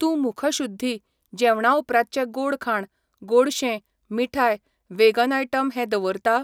तूं मुखशुध्दी, जेवणा उपरांतचें गोड खाण, गोडशें, मिठाय, वेेगन आयटम हें दवरता ?